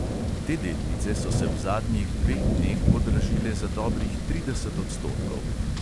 Te delnice so se v zadnjih dveh dneh podražile za dobrih trideset odstotkov.